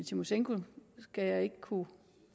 tymosjenko skal jeg ikke kunne